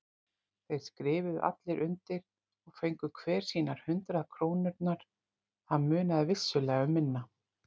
Þeir skrifuðu allir undir og fengu hver sínar hundrað krónurnar, það munaði vissulega um minna.